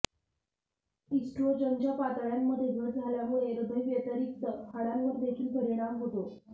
इस्ट्रोजनच्या पातळ्यांमध्ये घट झाल्यामुळे हृदयाव्यतिरिक्त हाडांवर देखील परिणाम होतो